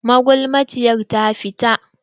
Magulmaciyar ta fita.